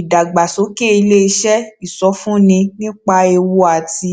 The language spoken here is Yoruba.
ìdàgbàsókè ilé iṣé ìsọfúnni nípa ewu àti